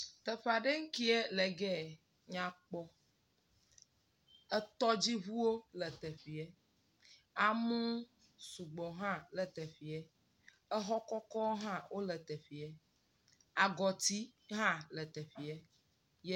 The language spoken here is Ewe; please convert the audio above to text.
Teƒe aɖe nyikeɛ le gee nyakpɔ, etɔdziŋuwo le teƒeɛ, amewo sugbɔ hã le teƒeɛ, exɔ kɔkɔwo hã le teƒeɛ, agɔti hã le teƒeɛ,…